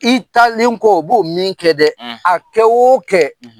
I talen kɔ u b'o min kɛ dɛ a kɛ o kɛ